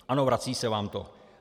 Ano, vrací se vám to.